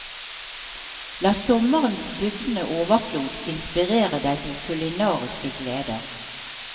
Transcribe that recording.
La sommerens bugnende overflod inspirere deg til kulinariske gleder.